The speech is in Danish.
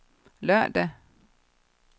lørdag